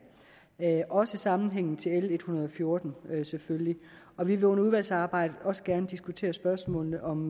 også sammenhængen til l en hundrede og fjorten selvfølgelig og vi vil under udvalgsarbejdet også gerne diskutere spørgsmålene om